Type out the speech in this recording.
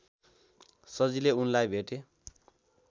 सजिलै उनलाई भेटे